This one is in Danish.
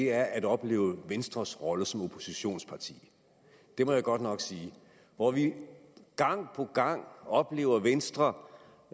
er at opleve venstres rolle som oppositionsparti det må jeg godt nok sige hvor vi gang på gang oplever venstre